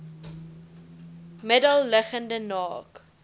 middel liggende naak